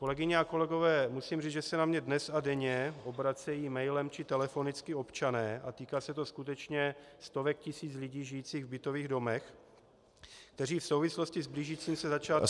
Kolegyně a kolegové, musím říct, že se na mě dnes a denně obracejí mailem či telefonicky občané, a týká se to skutečně stovek tisíc lidí žijících v bytových domech, kteří v souvislosti s blížícím se začátkem roku -